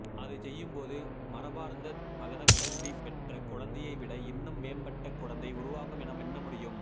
அதைச்செய்யும்போது மரபார்ந்த மதக்கல்வி பெற்ற குழந்தையை விட இன்னும் மேம்பட்ட குழந்தை உருவாகும் என எண்ணமுடியும்